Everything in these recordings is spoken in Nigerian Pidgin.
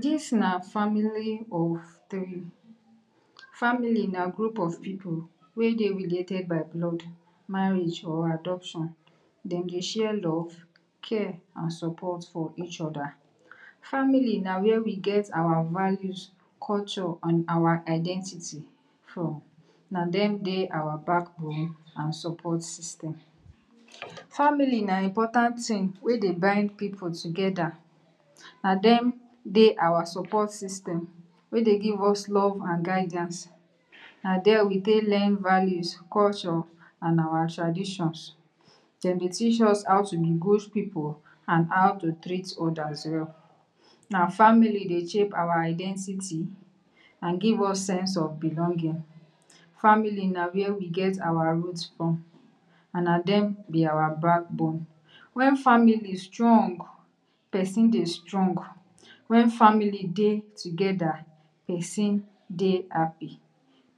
Dis na family of tiree, family na group of pipu wey dey related by blood, marriage or adoption. Dem dey share love, care and support for each oda, family na wia we get our values, culture and our identity from, na dem dey our backbone and support system. Family na important tin wey dey bind pipu together, na dem dey our support system wey dey give us long love ang guidiance, na dia we take learn values, culture, and our traditions. Dem be teach us how to be good pipu and how to treat odas well, na family dey shape our identity and give us sense of belonging, family na wia we get our root from and na dem be our backbone. Wen family strong, pesi dey strong, wen family dey together pesin dey happy,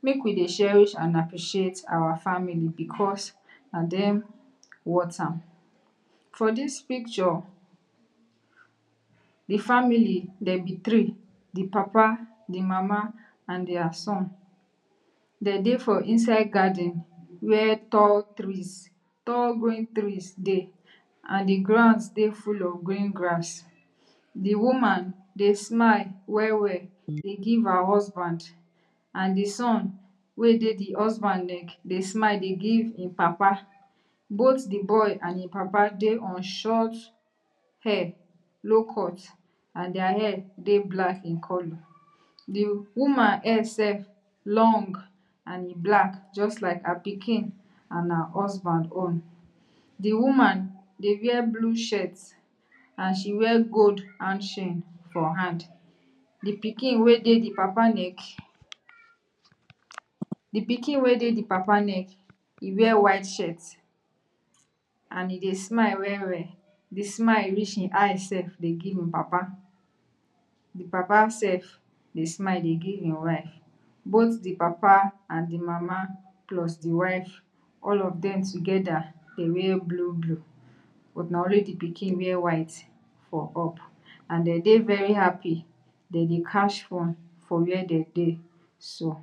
make we dey cherish and appreciate our family because na dem wort am. For dis picture, di family dem be tiree, di papa, di mama and dia son, dem dey for inside garden wia tall trees, tall growing trees dey and di ground dey full of green grass. Di woman dey smile well well dey give her husband and di son wey dey di husband leg dey smile dey give him papa, both di boy and him papa dey on short hair, low cut and dia hair dey black in color, di woman hair sef long and e black just like her pikin and her husband own. Di woman dey wear blue shirt and she wear gold hand chain for hand, di pikin wey dey di papa neck, di pikin wey dey di papa neck e wear white shirt and e dey smile well well, di smile reach him eye self dey gie him papa. Di papa self dey smile dey give him wife, both di papa and di mama plus di wife all of dem together dem wear blue blue but na only di pikin wear white for up and dem dey very happy, dem dey catch fun for wia dem dey so.